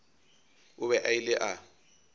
o be a ile a